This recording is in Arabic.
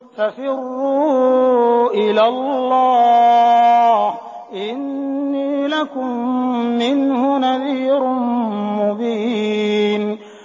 فَفِرُّوا إِلَى اللَّهِ ۖ إِنِّي لَكُم مِّنْهُ نَذِيرٌ مُّبِينٌ